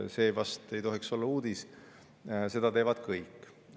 See vast ei tohiks olla uudis, seda teevad kõik.